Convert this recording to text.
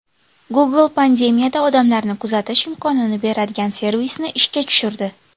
Google pandemiyada odamlarni kuzatish imkonini beradigan servisni ishga tushirdi.